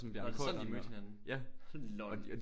Nåh det er sådan de mødte hinanden LOL